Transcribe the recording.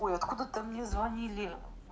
ой откуда-то мне звонили